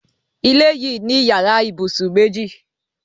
Ilé yìí ní yàrá ibùsùn méjì.